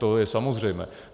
To je samozřejmé.